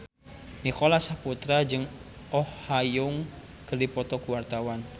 Nicholas Saputra jeung Oh Ha Young keur dipoto ku wartawan